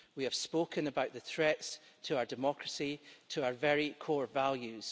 We have spoken about the threats to our democracy, to our very core values.